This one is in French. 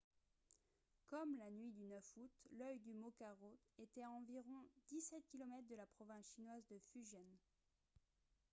comme la nuit du 9 août l'œil du mokarot était à environ 17 km de la province chinoise de fujian